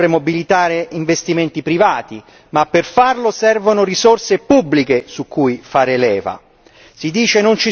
Certo, occorre mobilitare investimenti privati, ma per farlo servono risorse pubbliche su cui fare leva.